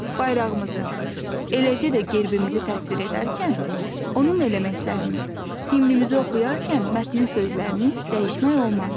Bayrağımızı, eləcə də gerbimizi təsvir edərkən, onun elementlərini, himnimizi oxuyarkən mətnin sözlərini dəyişmək olmaz.